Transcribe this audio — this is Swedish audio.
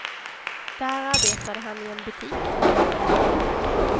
Där arbetade han i en butik.